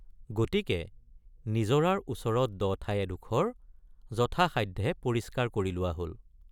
গতিকে নিজৰাৰ ওচৰত দ ঠাই এডোখৰ যথাসাধ্যে পৰিষ্কাৰ কৰি লোৱা হল।